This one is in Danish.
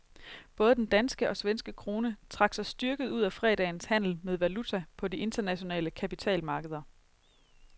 Både den danske og svenske krone trak sig styrket ud af fredagens handel med valuta på de internationale kapitalmarkeder.